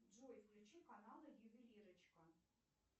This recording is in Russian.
джой включи каналы ювелирочка